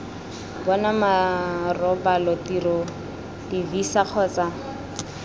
bona marobalo tiro divisa kgotsa